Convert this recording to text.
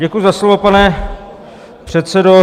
Děkuji za slovo, pane předsedo.